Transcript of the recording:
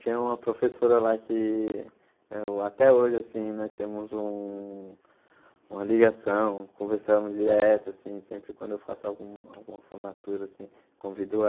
Tinha uma professora lá que eu até hoje, assim, nós temos um uma ligação, conversamos direto, assim, sempre quando eu faço algum alguma formatura, assim, convido